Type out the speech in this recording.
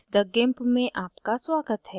meet the gimp में आपका स्वागत है